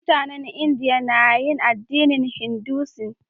Mutanen India na yin addinin Hinduism.